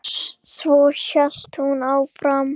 Svo hélt hún áfram: